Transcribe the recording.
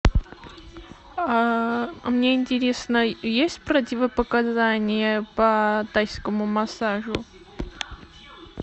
а мне интересно есть противопоказания по тайскому массажу